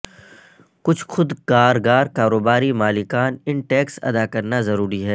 کچھ خود کارگار کاروباری مالکان ان ٹیکس ادا کرنا ضروری ہے